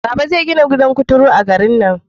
Baba zai gina gidan kuturu a garin nan